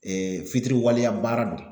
fitiriwaleya baara don